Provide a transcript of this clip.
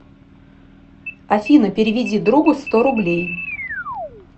афина переведи другу сто рублей